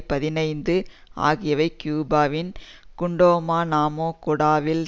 பதினைந்து ஆகியவை கியூபாவின் குவாண்டநாமோ குடாவில்